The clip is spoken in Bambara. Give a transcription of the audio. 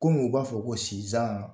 Komi u b'a fɔ ko sizan